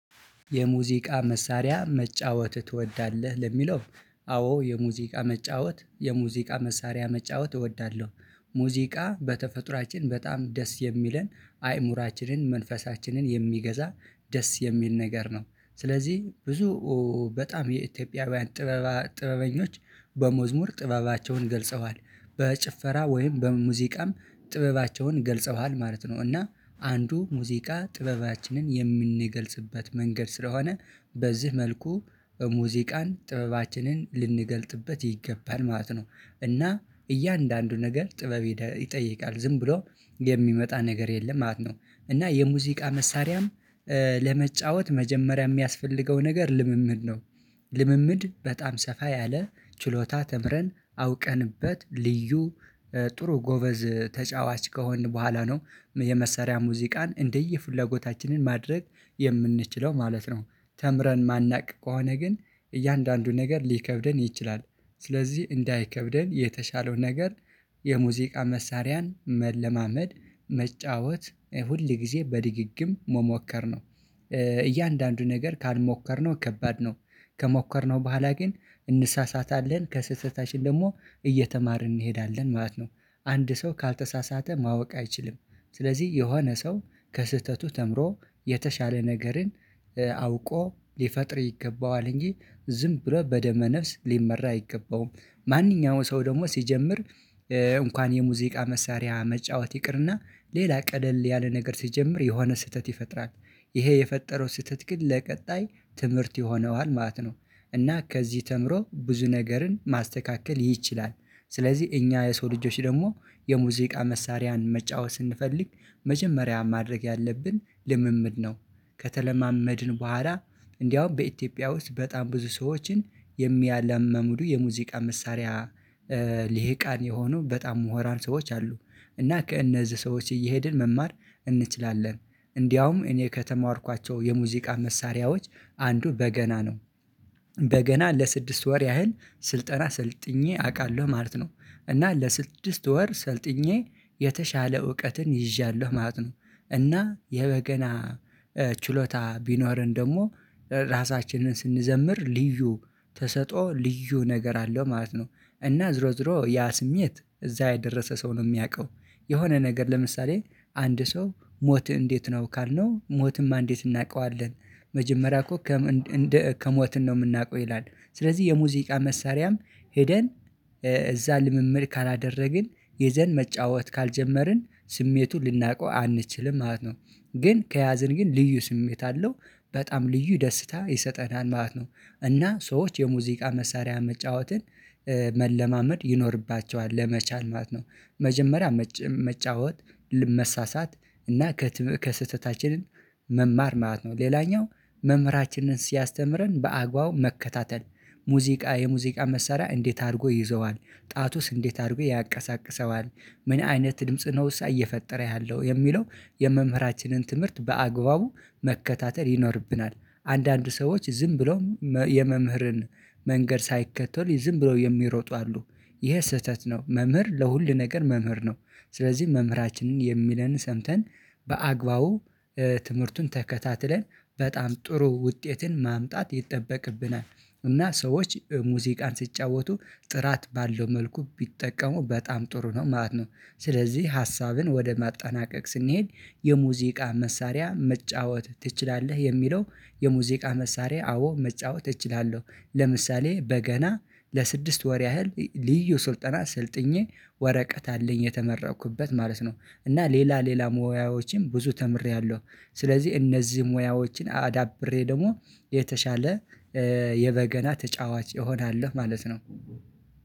የሙዚቃ መሳሪያ መጫወት ትወዳለህ ለሚለው? አዎ የሙዚቃ መጫወት የሙዚቃ መሳሪያ መጫወት እወዳለሁ። ሙዚቃ በተፈጥሮአችን በጣም ደስ የሚለን አይምሮአችንን መንፈሳችንን የሚገዛ ደስ የሚል ነገር ነው። ስለዚህ ብዙ በጣም የኢትዮጵያውያን ጥበብ ጥበበኞች በመዝሙር ጥበባቸውን ገልጸዋል። በጭፈራ ወይም በሙዚቃም ጥበባቸውን ገልጸዋል ማለት ነው። እና አንዱ ሙዚቃ ጥበባችንን የምንገልጽበት መንገድ ስለሆነ በዚህ መልኩ በሙዚቃን ጥበባችንን ልንገልጥበት ይገባል ማለት ነው። እና እያንዳንዱ ነገር ጥበብ ይጠይቃል ዝም ብሎ የሚመጣ ነገር የለም ማለት ነው። እና የሙዚቃ መሳሪያን ለመጫወት መጀመሪያ የሚያስፈልገው ነገር ልምምድ ነው። ልምምድ በጣም ሰፋ ያለ ችሎታ ተምረን አውቀንበት ልዩ ጥሩ ጎበዝ ተጫዋች ከሆንን በኋላ ነው የመሰሪያ ሙዚቃን እንደየፍላጎታችን ማድረግ የምንችለው ማለት ነው። ተምረን የማናቅ ከሆነ ግን እያንዳንዱ ነገር ሊከብደን ይችላል ስለዚህ እንዳይከብደን የተሻለው ነገር የሙዚቃ መሳሪያን መለማመድ መጫወት ሁል ጊዜ በድግግም መሞከር ነው። እያንዳንዱ ነገር ካልሞከርነው ከባድ ነው ከሞከርነው በኋላ ግን እንሳሳታለን ከስህተታችን ደግሞ እየተማርን እንሄዳለን ማለት ነው። አንድ ሰው ካልተሳሳተ ማወቅ አይችልም። ስለዚህ የሆነ ሰው ከስህተቱ ተምሮ የተሻለ ነገርን አውቆ ሊፈጥር ይገባዋል እንጂ ዝም ብለው በደመ ነፍስ ሊመራ አይገባውም። ማንኛውም ሰው ደግሞ ሲጀምር እንኳን የሙዚቃ መሳሪያ መጫወት ይቅርና ሌላ ቀለል ያለ ነገር ሲጀምር የሆነ ስህተት ይፈጥራል ይሄ የፈጠረው ስህተት ግን ለቀጣይ ትምህርት ይሆነዋል ማለት ነው። እና ከዚህ ተምሮ ብዙ ነገርን ማስተካከል ይችላል። ስለዚህ እኛ የሰው ልጆች ደግሞ የሙዚቃ መሳሪያን መጫወት ስንፈልግ መጀመሪያ ማድረግ ያለብን ልምምድ ነው። ከተለማመድን በኋላ እንደውም በኢትዮጵያ ውስጥ በጣም ብዙ ሰዎችን የሚያለማምዱ የሙዚቃ መሳሪያ ልሂቃን የሆኑ በጣም ምሁራን ሰዎች አሉ። እና ከእነዚህ ሰዎች እየሄድን መማር እንችላለን እንደውም እኔ ከተማርኳቸው የሙዚቃ መሳሪያዎች አንዱ በገና ነው በገና ለስድስት ወር ያህል ስልጠና ሰልጥኜ አውቃለሁ ማለት ነው። እና ለስድስት ወር ሰልጥኜ የተሻለ እውቀትን ይዣለሁ ማለት ነው። እና የበገና ችሎታ ቢኖረን ደግሞ ራሳችንን ስንዘምር ልዩ ተሰጦ ልዩ ነገር አለው ማለት ነው። እና ዞሮ ዞሮ ያ ስሜት እዛ የደረሰ ሰው ነው የሚያውቀው የሆነ ነገር ለምሳሌ አንድ ሰው ሞት እንዴት ነው ካልነው ሞትማ እንዴት እናውቀዋለን? መጀመሪያ እኮ ከሞትን ነው የምናውቀው ይላል ስለዚህ የሙዚቃ መሳሪያም ሄደን እዛ ልምምድ ካላደረግን ይዘን መጫወት ካልጀመርን ስሜቱን ልናውቀው አንችልም ማለት ነው። ግን ከያዝን ግን ልዩ ስሜት አለው በጣም ልዩ ደስታ ይሰጠናል ማለት ነው። እና ሰዎች የሙዚቃ መሳሪያ መጫወትን መለማመድ ይኖርባቸዋል ለመቻል ማለት ነው። መጀመሪያ መጫወት መሳሳት እና ከስህተታችንን መማር ማለት ነው። ሌላኛው መምህራችንን ሲያስተምረን በአግባቡ መከታተል ሙዚቃ የሙዚቃ መሳሪያ እንዴት አድርጎ ይዘዋል ጣቱስ እንዴት አድርጎ ያንቀሳቅሰዋል? ምን አይነት ድምጽ ነውሳ እየፈጠረ ያለው የሚለው? የመምህራችንን ትምህርት በአግባቡ መከታተል ይኖርብናል። አንዳንድ ሰዎች ዝም ብለው የመምህርን መንገድ ሳይከተሉ ዝም ብለው የሚሮጡ አሉ። ይሄ ስህተት ነው መምህር ለሁሉ ነገር መምህር ነው። ስለዚህ መምህራችንን የሚለንን ሰምተን በአግባቡ ትምህርቱን ተከታትለን በጣም ጥሩ ውጤትን ማምጣት ይጠበቅብናል። እና ሰዎች ሙዚቃን ሲጫወቱ ጥራት ባለው መልኩ ቢጠቀሙ በጣም ጥሩ ነው ማለት ነው። ስለዚህ ሀሳብን ወደ ማጣናቀቅ ስንሄድ የሙዚቃ መሳሪያ መጫወት ትችላለህ የሚለው? የሙዚቃ መሳሪያ አዎ መጫወት እችላለሁ ለምሳሌ በገና ለስድስት ወር ያህል ልዩ ስልጠና ሰልጥኜ ወረቀት አለኝ የተመራኩበት ማለት ነው። እና ሌላ ሌላ ሙያዎችን ብዙ ተምሬያለሁ። ስለዚህ እነዚህ ሙያዎችን አዳብሬ ደግሞ የተሻለ የበገና ተጫዋች እሆናለሁ ማለት ነው።